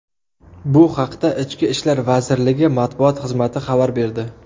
Bu haqda Ichki ishlar vazirligi matbuot xizmati xabar berdi .